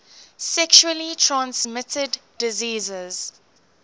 sexually transmitted diseases